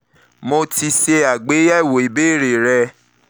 mo ti ṣe mo ti ṣe àgbéyẹ̀wò